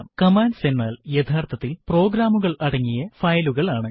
commands എന്നാൽ യഥാർത്ഥത്തിൽ പ്രോഗ്രാമുകൾ അടങ്ങിയ ഫയലുകൾ ആണ്